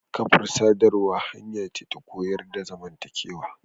Kafar sadarwa hanya ce ta koyar da zamantakewa.